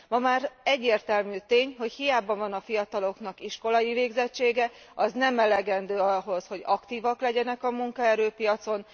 Ma már egyértelmű tény, hogy hiába van a fiataloknak iskolai végzettsége, az nem elegendő ahhoz, hogy aktívak legyenek a munkaerőpiacon.